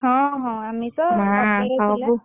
ହଁ ହଁ ଆମିଷ।